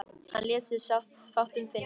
Hann lét sér fátt um finnast.